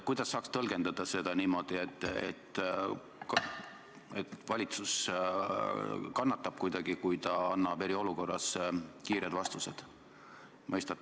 Kuidas saaks tõlgendada seda niimoodi, et valitsus kuidagi kannatab, kui ta annab eriolukorra ajal kiireid vastuseid?